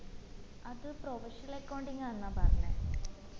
അത് professional accounting ആന്ന പറഞ്ഞെ